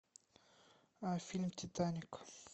фильм титаник